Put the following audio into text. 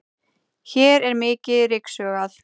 hér er mikið ryksugað